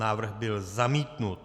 Návrh byl zamítnut.